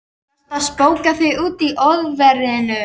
Varstu að spóka þig úti í óveðrinu?